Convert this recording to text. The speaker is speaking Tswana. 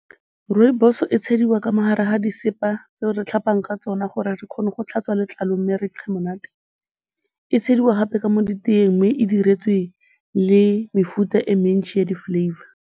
Rooibos-o e tsheliwa ka mo gare ga disepa tseo re tlhapang ka tsona gore re kgone go tlhatswa letlalo mme re nkge monate, e tsheliwa gape ka mo e diretswe le mefuta e mentjhi ya di-flavour.